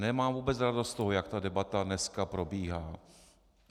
Nemám vůbec radost z toho, jak ta debata dneska probíhá.